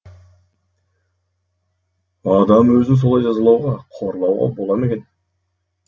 адам өзін солай жазалауға қорлауға бола ма екен